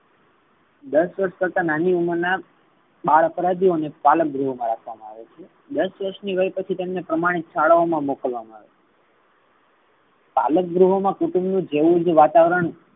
દસ વર્ષ કરતા નાની ઉમર ના બાળ અપરાધીઓ ને પાલક ગૃહ મા રાખવામા આવે છે. દસ વર્ષ પછી તેમને પ્રામાણિક શાળાઓ મા મોકલવામા આવે છે. પાલક ગૃહ મા કુટુંબ ના જેવુંજ વાતાવરણ